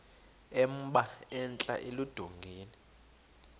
emba entla eludongeni